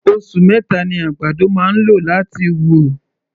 Osù meta ni àgbàdo máa ń lò láti wù.